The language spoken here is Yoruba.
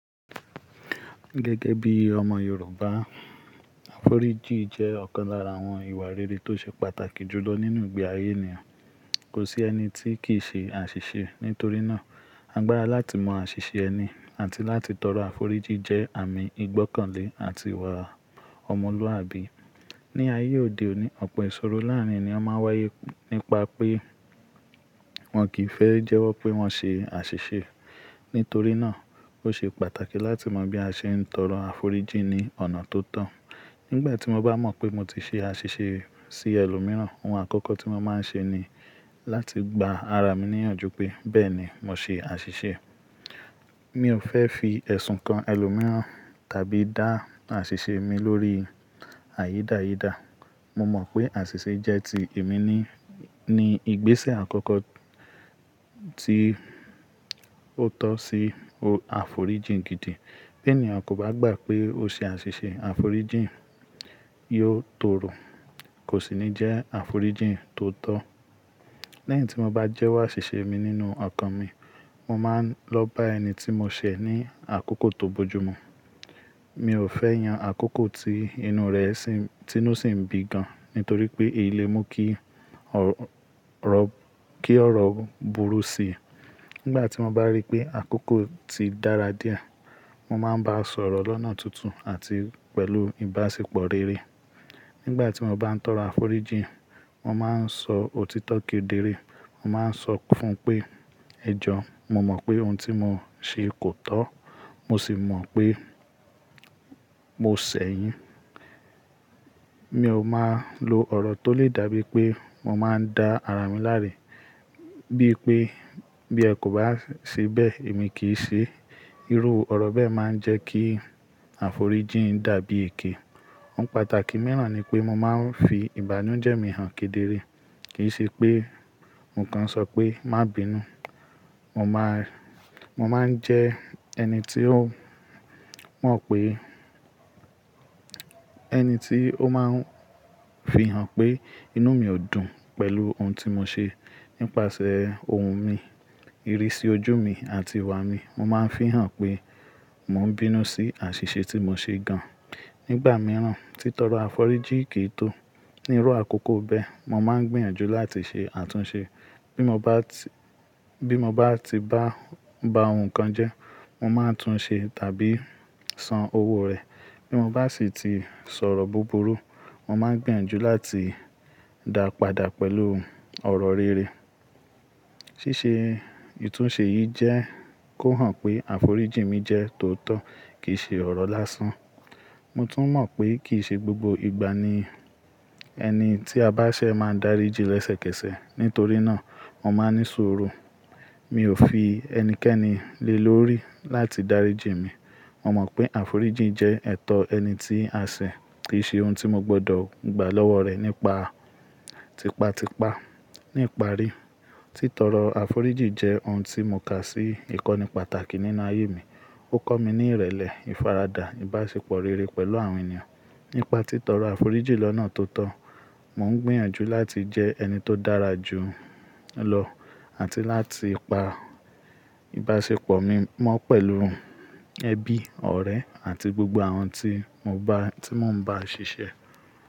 Gẹ́gẹ́ bí ọmọ Yorùbá, àforíjì jẹ́ ọ̀kan lára àwọn ìwà rere tó ṣe pàtàkì jù lọ nínú ìgbé ayé ènìyàn. Kò sí ẹni tí kì í ṣe àṣìṣe, nítorí náà, agbára láti mọ àṣìṣe ẹni àti láti tọrọ àforíjì jẹ́ àmì ìgbọ́kànlé àti ìwà ọmọlúwàbí. Ni ayé òde òní, ọ̀pọ̀ ìṣòro láàárín ènìyàn máa ń wáyé nípa pé wọ́n kì í fẹ́ jẹ́wọ́ pé wọ́n ṣe àṣìṣe. Nítorí náà, ó ṣe pàtàkì láti mọ bí a ṣe ń tọrọ àforíjì ní ọ̀nà tó tọ́. Nígbà tí mo bá mọ̀ pé mo ti ṣe àṣìṣe sí ẹlòmíràn, ohun àkọ́kọ́ tí mo máa ń ṣe ni láti gba ara mi níyànjú pé bẹ́ẹ̀ni, mo ṣe àṣìṣe. Mi ò fẹ́ fi ẹ̀sùn kan ẹlòmíràn tàbí dá àṣìṣe mi lórí àyídáyídà. Mo mọ̀ pé àṣìṣe jẹ́ ti èmi nínìí ní ìgbésẹ̀ àkọ́kọ́ tí ó tọ́ sí àforíjì gidi. Bí ènìyàn kò bá gbà pé ó ṣe àṣìṣe, àforíjì yóò toro, kò sì ní jẹ́ àforíjì tó tọ́. Lẹ́yìn tí mo bá jẹ́wọ́ àṣìṣe mi nínú ọkàn mi, mo máa ń lọ bá ẹni tí mo ṣẹ̀ ní àkókò tó bojúmu. Mi ò fẹ́ yan àkókò tí inú rẹ̀ ti nísì bi gan, nítorí pé èyí le mú kí ọrọ kí ọ̀rọ̀ burú si. Nígbà tí mo bá rí pé àkókò ti dára díẹ̀, mo máa ń bá a sọ̀rọ̀ lọ́nà tuntun àti pẹ̀lú ìbáṣepọ̀ rere. Nígbà tí mo bá ń tọrọ àforíjì, mo máa ń sọ òtítọ́ kedere. Mo máa ń sọ fún un pé, "Ẹ̀jọ̀, mo mọ̀ pé ohun tí mo ṣe kò tọ́, mo sì mọ̀ pé mo ṣẹ̀ yín." Mi ò máa ń lo ọ̀rọ̀ tó lè dàbí pé mo máa ń dá ara mi láre bí pé, "Bí ẹ kò bá ṣe bẹ́ẹ̀, èmi kì í ṣe." Irú ọ̀rọ̀ bẹ́ẹ̀ máa ń jẹ́ kí àforíjì dàbí èké. Ohun pàtàkì mìíràn ni pé mo máa ń fi ìbànújẹ́ mi hàn kedere. Kì í ṣe pé mo kan ṣọ pé má bí'nú. Mo máa ń jẹ ẹni tí ó mọ̀ pé ẹni tí ó máa ń fi hàn pé inú mi ò dùn pẹ̀lú ohun tí mo ṣe. Nípàsẹ́ ohùn mi, ìrísí ojú mi àti ìwà mi, mo máa ń fihàn pé mò ń bínú sí àṣìṣe tí mo ṣe gan. Nígbà mìíràn, títọrọ àforíjì kì í tó. Ní irú àkókò bẹ́ẹ̀, mo máa ń gbìyànjú láti ṣe àtúnṣe. Bí mo bá ti bá ohun kan jẹ́, mo máa tún un ṣe tàbí san owó rẹ̀. Bí mo bá sì ti sọ̀rọ̀ búburú, mo máa ń gbìyànjú láti dàpadà pẹ̀lú ọ̀rọ̀ rere. Ṣíṣe ìtúnṣe yìí jẹ́ kó hàn pé àforíjì mi jẹ́ tó tọ́ kì í ṣe ọ̀rọ̀ lásán. Mo tún mọ̀ pé kì í ṣe gbogbo ìgbà ni ẹni tí a bá ṣẹ̀ máa ń daríji lẹ́sẹ̀kẹsẹ̀. Nítorí náà, mo máa ń ní suru. Mi ò fi ẹnikẹ́ni lé lórí láti dáríji mi. Mo mọ̀ pé àforíjì jẹ́ ẹ̀tọ́ ẹni tí a ṣẹ̀ kì í ṣe ohun tí mo gbọdọ̀ gba lọ́wọ́ rẹ̀ nípa tipa tipa. Ní ìparí, títọrọ àforíjì jẹ́ ohun tí mo kà sí ìkọ́ni pàtàkì nínú ayé mi. Ó kọ́ mi ní ìrẹ̀lẹ̀, ìfaradà, ìbáṣepọ̀ rere pẹ̀lú àwọn ènìyàn. Nípa títọrọ àforíjì lọ́nà tó tọ́, mò ń gbìyànjú láti jẹ ẹni tó dára jù lọ àti láti pa ìbáṣepọ̀ mi mọ́ pẹ̀lú ẹbí, ọ̀rẹ́ àti gbogbo àwọn tí mò ń bá ṣiṣẹ́.